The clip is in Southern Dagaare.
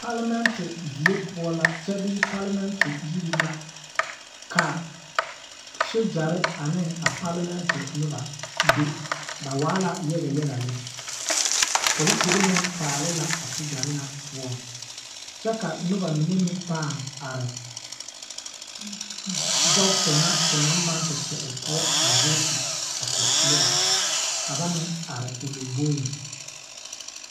Palemɛnte die poɔ la kyɛ bee palemɛnte yiri ka sogyare ne a palemɛnte noba ba waa la yaga yaga lɛ polisiri paale la a sogyare ŋa poɔ kyɛ ka noba mine meŋ pãã are bogisi ŋa te naŋ maŋ te kpɛ o poɔ voot a koi noba ka ba meŋ are o lomboeŋ.